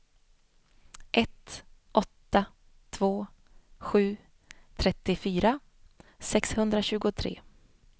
ett åtta två sju trettiofyra sexhundratjugotre